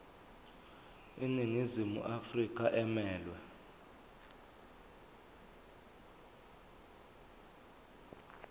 iningizimu afrika emelwe